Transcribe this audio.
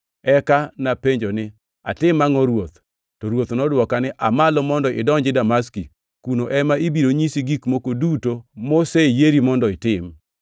“Eka napenjo ni, ‘Atim angʼo, Ruoth.’ “To Ruoth nodwoka ni, ‘Aa malo mondo idonji Damaski. Kuno ema ibiro nyisi gik moko duto moseyieri mondo itim.’